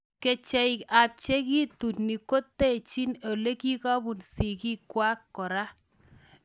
Kecheik ap chekituni kotechiin olekikobuun sigikwaak koraa